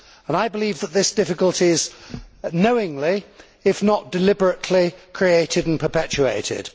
I believe that this difficulty is knowingly, if not deliberately, created and perpetuated.